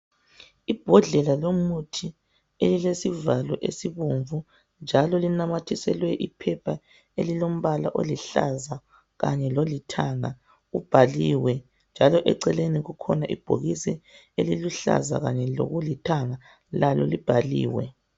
Ibhodlela lomuthi elile sivalo esibomvu, njalo linamathiselwe iphepha elilombala oluhlaza kanye lolithanga. Ubhaliwe njalo eceleni kukhona ibhokisi elilokuluhlaza lokulithanga lakho kubhaliwe.